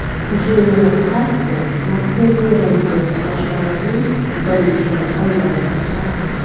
Jina Xaspel Markaziy razvedka boshqarmasining birinchi ayol rahbari.